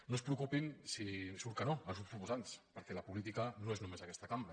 no es preocupin si surt que no els grups proposants perquè la política no és només aquesta cambra